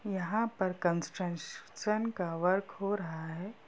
यहां पर construction का वर्क हो रहा है।